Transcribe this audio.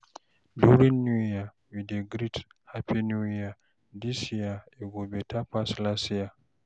During New Year, we dey greet, "Happy New Year! This year go better pass last year!"